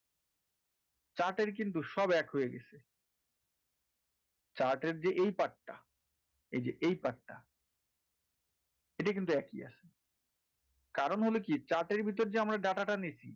chart এর কিন্তু সব এক হয়ে গেছে chart এর যে এই part টা এই যে এই part টা এটা কিন্তু একই আছে কারন হলো কি chart এর ভিতর যে আমরা data টা নিছি,